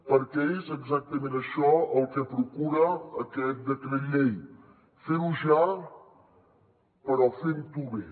perquè és exactament això el que procura aquest decret llei fer ho ja però fent ho bé